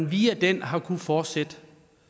via den har kunnet fortsætte